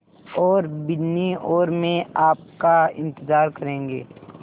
और बिन्नी और मैं आपका इन्तज़ार करेंगे